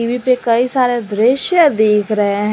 कई सारे दृश्य देख रहे हैं।